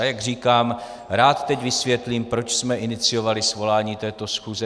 A jak říkám, rád teď vysvětlím, proč jsme iniciovali svolání této schůze.